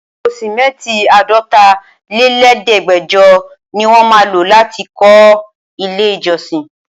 Àpò simẹnti Àádọ́ta lé lẹ̀ẹ́dẹgbẹjọ ní wọ́n má lọ láti fi kó ilé ìjọsìn.